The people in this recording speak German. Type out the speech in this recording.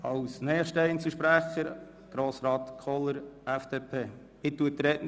Als nächster Einzelsprecher hat Grossrat Kohler das Wort.